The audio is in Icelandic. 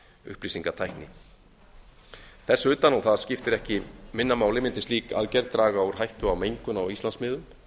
upplýsingatækni þess utan og það skiptir ekki minna máli mundi slík aðgerð draga úr hættu á mengun á íslandsmiðum